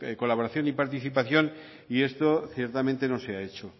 colaboración y participación y esto ciertamente no se ha hecho